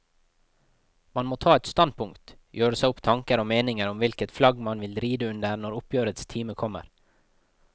Man må ta et standpunkt, gjøre seg opp tanker og meninger om hvilket flagg man vil ride under når oppgjørets time kommer.